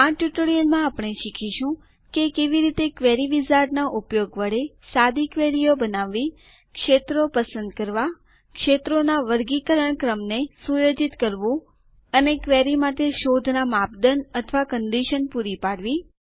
આ ટ્યુટોરીયલમાં આપણે શીખીશું કે કેવી રીતે ક્વેરી વિઝાર્ડના ઉપયોગ વડે સાદી ક્વેરીઓ બનાવવી ક્ષેત્રો પસંદ કરવાં ક્ષેત્રોના વર્ગીકરણ ક્રમને સુયોજિત કરવું અને ક્વેરી માટે શોધનાં માપદંડ અથવા કંડીશન શરતો પૂરી પાડવી